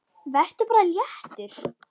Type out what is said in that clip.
Vertu bara léttur!